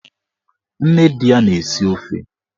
Nne di ya na-esi ofe